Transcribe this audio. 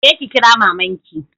Je ki kira maman ki.